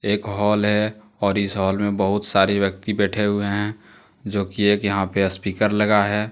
एक हॉल है और इस हॉल में बहुत सारे व्यक्ति बैठे हुए हैं जोकि एक यहां पे स्पीकर लगा है।